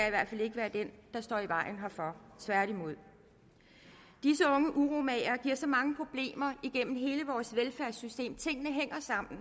i hvert fald ikke være den der står i vejen herfor tværtimod disse unge uromagere giver så mange problemer igennem hele vores velfærdssystem tingene hænger sammen